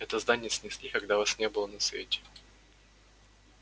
это здание снесли когда вас не было на свете